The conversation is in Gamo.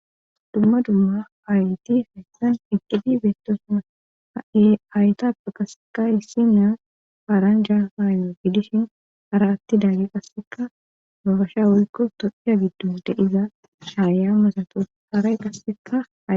dumma dumma hayti hayssan eqqidi beettosuma haytape qasseka issi miya paaranja haayno fidishin hara atti daagge qasseka babasha wuyikko toxiya giddo deiza haaya masato haray qasseka